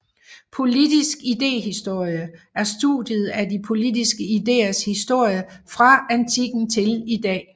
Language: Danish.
Politisk idéhistorie er studiet af de politiske idéers historie fra antikken til i dag